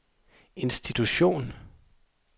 institution